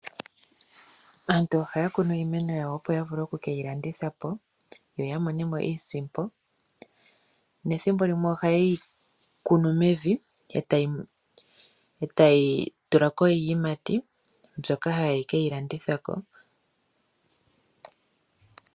Aantu ohaya kunu iimeno yawo opo ya vule okuke yi landitha po yo ya mone mo iisimpo, nethimbo limwe ohaye yi kunu mevi etayi tula ko iiyimati mbyoka haye ke yi landitha po.